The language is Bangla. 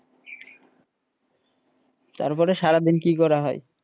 তারপরে সারাদিন কি করা হয়?